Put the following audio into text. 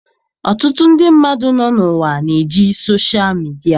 Ọtụtụ ndị mmadụ nọ n'ụwa na-eji soshal midia.